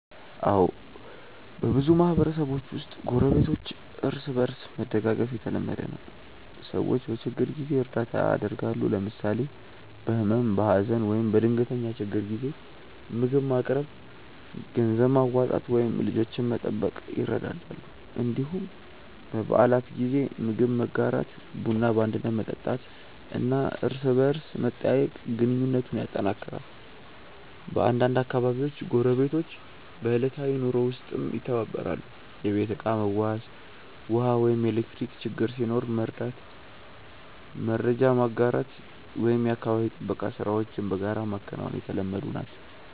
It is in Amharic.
አዎ፣ በብዙ ማህበረሰቦች ውስጥ ጎረቤቶች እርስ በእርስ መደጋገፍ የተለመደ ነው። ሰዎች በችግር ጊዜ እርዳታ ያደርጋሉ፣ ለምሳሌ በህመም፣ በሀዘን ወይም በድንገተኛ ችግር ጊዜ ምግብ ማቅረብ፣ ገንዘብ ማዋጣት ወይም ልጆችን መጠበቅ ይረዳዳሉ። እንዲሁም በበዓላት ጊዜ ምግብ መጋራት፣ ቡና በአንድነት መጠጣት እና እርስ በርስ መጠያየቅ ግንኙነቱን ያጠናክራል። በአንዳንድ አካባቢዎች ጎረቤቶች በዕለታዊ ኑሮ ውስጥም ይተባበራሉ፤ የቤት ዕቃ መዋስ፣ ውሃ ወይም ኤሌክትሪክ ችግር ሲኖር መርዳት፣ መረጃ መጋራት ወይም የአካባቢ ጥበቃ ሥራዎችን በጋራ ማከናወን የተለመዱ ናቸው።